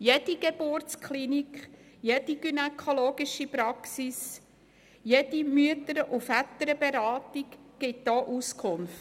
Jede Geburtsklinik, jede gynäkologische Praxis, jede Mütter- und Väterberatung gibt Auskunft.